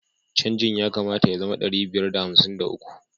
Canjin ya kamata ya zama ɗari biyar da hamsin da uku.